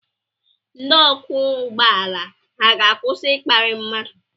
Ndị ọkwọ ụgbọ ala ha ga-akwụsị ịkparị mmadụ?